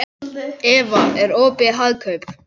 Eva, er opið í Hagkaup?